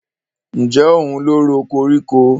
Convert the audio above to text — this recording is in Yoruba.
Ǹjẹ́ òun ló ro koríko?